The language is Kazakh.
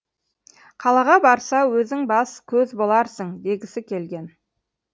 қалаға барса өзің бас көз боларсың дегісі келген